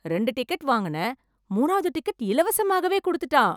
ரெண்டு டிக்கெட் வாங்கினேன் மூணாவது டிக்கெட் இலவசமாகவே கொடுத்துட்டான்!